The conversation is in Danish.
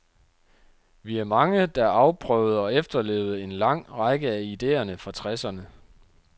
Vi er mange, der afprøvede og efterlevede en lang række af idéerne fra tresserne.